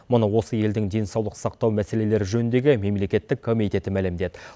мұны осы елдің денсаулық сақтау мәселелері жөніндегі мемлекеттік комитеті мәлімдеді